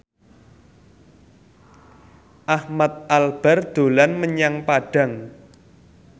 Ahmad Albar dolan menyang Padang